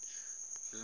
ngibona